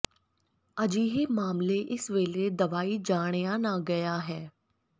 ਅਜਿਹੇ ਮਾਮਲੇ ਇਸ ਵੇਲੇ ਦਵਾਈ ਜਾਣਿਆ ਨਾ ਗਿਆ ਹੈ